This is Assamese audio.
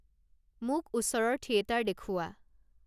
মোক ওচৰৰ থিয়েটাৰ দেখুওৱা